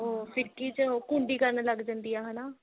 ਉਹ ਫਿਰਕੀ ਚ ਕੁੰਡੀ ਕਰਨ ਲੱਗ ਜਾਂਦੀ ਆ ਹਨਾ